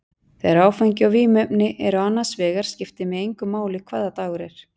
Þegar áfengi og vímuefni eru annars vegar skiptir mig engu máli hvaða dagur er.